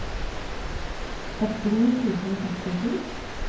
sekstini tusen og sekstisju